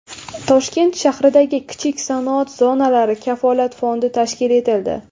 Toshkent shahridagi kichik sanoat zonalari Kafolat fondi tashkil etildi.